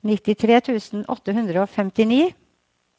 nittitre tusen åtte hundre og femtini